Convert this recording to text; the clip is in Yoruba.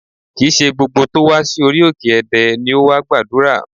Kì í ṣe gbogbo tó wá sí orí òkè Ẹdẹ ni ó wá gbàdúrà